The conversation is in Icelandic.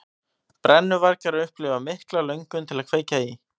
Brennuvargar upplifa mikla löngun til að kveikja í.